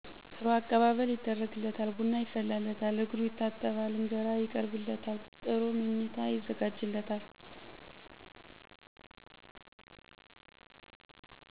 ጥሩ አቀባበል ይደረግለታል ቡና ይፈላለታል እግሩ ይታጠባል እንጀራ ይቀርብለታል ጥሩ ምኚታ ይዘጋጅለታል